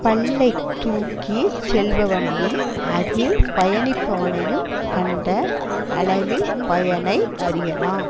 பல்லை தூக்கி செல்பவனையும் அதில் பயணிப்பவனையும் கண்ட அளவில் பயனை அறியலாம்